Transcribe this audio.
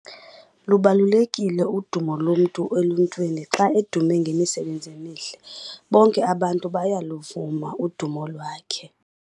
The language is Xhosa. Lubalulekile udumo lomntu eluntwini xa edume ngemisebenzi emihle. Bonke abantu bayaluvuma udumo lwakhe.